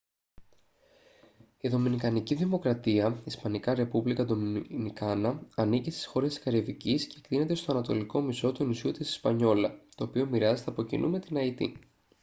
η δομινικανή δημοκρατία ισπανικά: republica dominicana ανήκει στις χώρες της καραϊβικής και εκτείνεται στο ανατολικό μισό του νησιού της ισπανιόλα το οποίο μοιράζεται από κοινού με την αϊτή